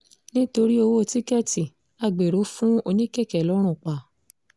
nítorí ọwọ́ tíkẹ́ẹ̀tì agbéró fún oníkèké lọ́run pa